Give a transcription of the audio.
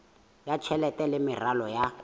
ya tjhelete le meralo ya